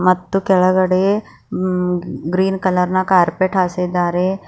ಮತ್ತು ಕೆಳಗಡೆ ಮ್ಮ್ - ಗ್ರೀನ್ ಕಲರ್ ನ ಕಾರ್ಪೆಟ್ ಹಾಸಿದ್ದಾರೆ.